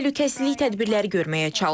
Təhlükəsizlik tədbirləri görməyə çalışırıq.